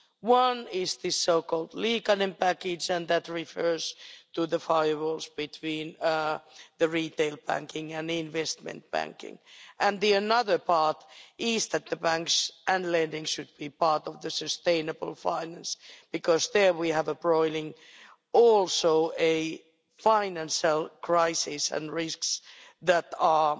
One is the so called Liikanen package, and that refers to the firewalls between the retail banking and investment banking, and the other part is that the banks and lending should be part of the sustainable finance, because there we have a broiling financial crisis and risks that are